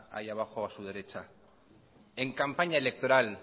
ahí abajo a su derecha en campaña electoral